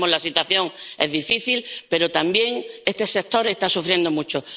Sabemos que la situación es difícil, pero también que este sector está sufriendo mucho.